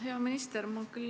Hea minister!